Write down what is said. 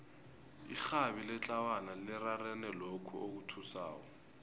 irhabi letlawana lirarene lokhu okuthusako